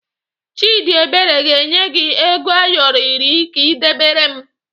Chidiebere ga-enye gị ego Ayoro iri ka ị debere m